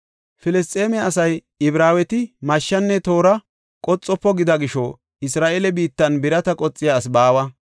Filisxeeme asay, “Ibraaweti mashshenne toora qoxofo” gida gisho, Isra7eele biittan birata qoxiya asi baawa.